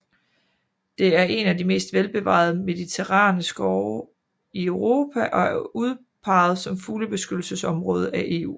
Det er en af de mest velbevarede mediterrane skove i Europa og er udpeget som fuglebeskyttelsesområde af EU